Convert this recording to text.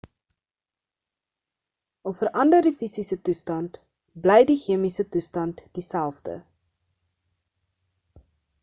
al verander die fisiese toestand bly die chemiese toestand dieselfde